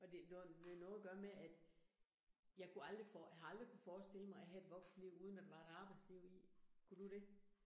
Og det, det noget at gøre med, at jeg kunne aldrig havde aldrig kunnet forestille mig at have et voksenliv, uden der var et arbejdsliv i. Kunne du det?